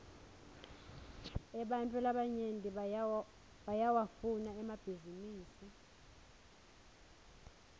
ebantfu labanyenti bayawafuna emabhninisi